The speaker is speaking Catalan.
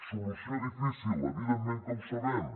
solució difícil evidentment que ho sabem